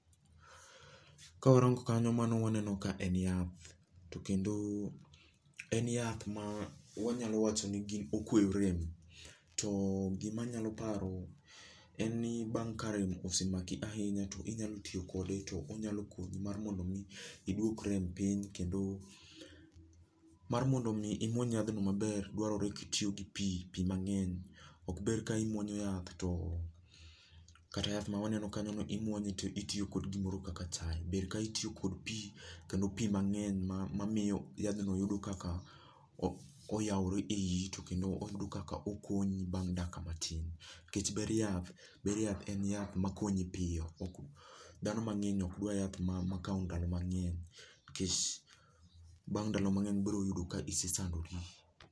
Ka warango kanyo, mano waneno ka en yath. To kendo en yath ma wanyalo wachoni okweyo rem. To gima anyalo paro en ni, bang' ka rem osemaki ahinya to inyalo tiyo kode, to onyalo konyi mar mondo omi iduok rem piny. Kendo mar mondo omi imuony yadhno maber, dwarore kitiyo gi pii, pii mangény. Okber ka imuonyo yath to, kata yath ma waneno kanyono, imwoye to itiyo gi gimoro kaka chae, ber ka itiyo kod pii, kendo pii mangény ma, ma miyo yadhno yudo kaka oyaure e ii, kendo oyudo kaka okonyi bang' dakika matin. Nikech ber yath, ber yath, en yath makonyi piyo, ok, dhano mangény okdwar yath ma, makao ndalo mangény, nikech, bang' ndalo mangény biroyudo ka isesandori.